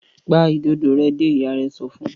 Pa Ìdodo rẹ dé! ìyá rẹ sọfún.